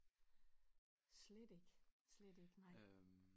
Slet ikke slet ikke nej